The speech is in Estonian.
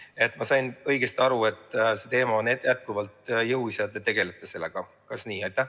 Kas ma sain õigesti aru, et see teema on jätkuvalt jõus ja te tegelete sellega?